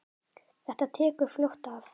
Þetta tekur fljótt af.